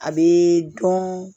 A bɛ dɔn